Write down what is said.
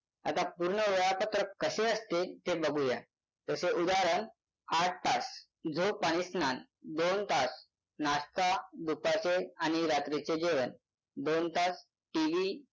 आता पूर्ण वेळापत्रक कसे असते ते बघू या जसे उदाहरण आठ तास झोप आणि स्नान दोन तास नाश्ता दुपारचे आणि रात्रीचे जेवण दोन तास टीव्ही